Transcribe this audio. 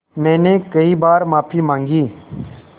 मैंने कई बार माफ़ी माँगी